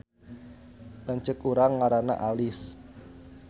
Lanceuk urang ngaranna Alis